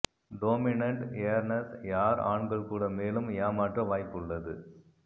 dominant earners யார் ஆண்கள் கூட மேலும் ஏமாற்ற வாய்ப்பு உள்ளது